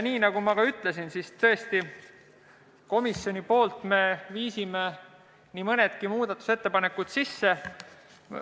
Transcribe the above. Nagu ma ütlesin, viis komisjon nii mõnegi muudatusettepaneku ka sisse.